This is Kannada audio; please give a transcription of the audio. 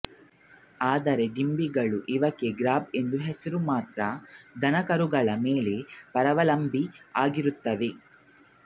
ಆದರೆ ಡಿಂಭಗಳು ಇವಕ್ಕೆ ಗ್ರಬ್ ಎಂದು ಹೆಸರು ಮಾತ್ರ ದನಕರುಗಳ ಮೇಲೆ ಪರಾವಲಂಬಿಗಳಾಗಿರುತ್ತವೆ